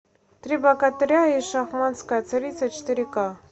три богатыря и шамаханская царица четыре ка